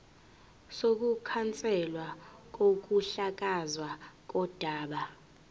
sokukhanselwa kokuhlakazwa kodaba